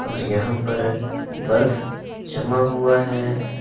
और यहां पर बर्फ जमा हुआ है।